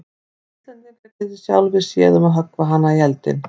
Þið Íslendingar getið sjálfir séð um að höggva hana í eldinn.